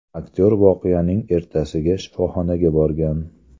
Aktyor voqeaning ertasiga shifoxonaga borgan.